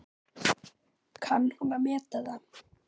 Kann hún að meta það?